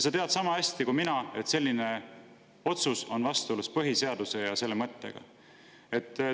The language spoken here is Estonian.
Sa tead sama hästi kui mina, et selline otsus on vastuolus põhiseaduse ja selle mõttega.